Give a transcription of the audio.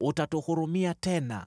Utatuhurumia tena,